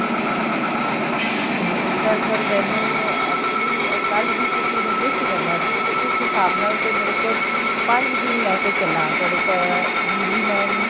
or sir ਪਰ ਮੈਨੂੰ actually ਇਹ ਕੱਲ ਹੀ ਕਿਸੀ ਨੂੰ gift ਕਰਨਾ ਸੀ ਤੇ ਇਸ ਹਿਸਾਬ ਨਾਲ ਮੇਰੇ ਕੋਲ ਪੰਜ ਦਿਨ ਲੈਕੇ ਚੱਲਾ ਤੁਹਾਡੇ delivery man